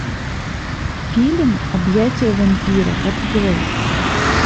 фильм объятия вампира открой